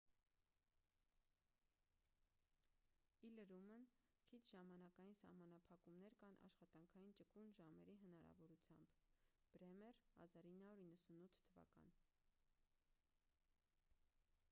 ի լրումն քիչ ժամանակային սահմանափակումներ կան աշխատանքային ճկուն ժամերի հնարավորությամբ։ բրեմեր 1998 թվական